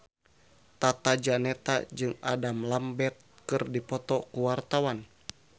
Tata Janeta jeung Adam Lambert keur dipoto ku wartawan